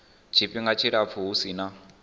tshifhinga tshilapfu hu si na